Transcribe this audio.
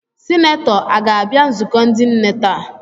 Sinetọ a ga-abịa nzukọ ndị nne taa?